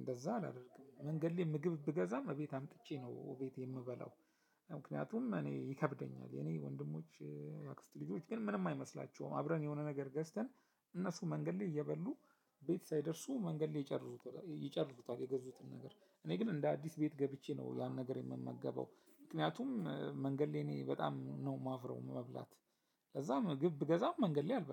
እንደዛ አላደርግም መንገድ ላይ ምግብ ብገዛም እቤት አምጥቼ ነው እቤቴ የምበላው። ምክንያቱም እኔ ይከብደኛል። የኔ ወንድሞች የአክስት ልጆች ግን ምንም አይመስላቸውም አብረን የሆነ ነገር ገዝተን እነሱ መንገድ ላይ እየበሉ ቤት ሳይደርሱ መንገድ ላይ ይጨርሱበታል ይጨርሱታል። የገዙትን ነገር እኔ ግን እንደ አዲስ ቤት ገብቼ ነው ያን ነገር የምመገበው። ምክንያቱም መንገድ ላይ እኔ በጣም ነው የማፍረው መብላት ለዛ ምግብ ብገዛም መንገድ ላይ አልበላም